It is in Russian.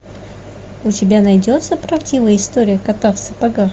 у тебя найдется правдивая история кота в сапогах